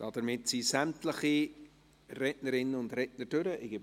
Damit sind sämtliche Rednerinnen und Redner durch.